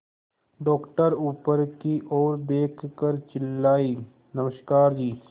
doctor ऊपर की ओर देखकर चिल्लाए नमस्कार जी